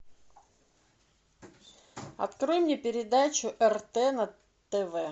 открой мне передачу рт на тв